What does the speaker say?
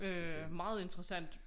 Øh meget interessant